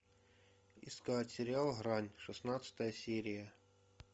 искать сериал грань шестнадцатая серия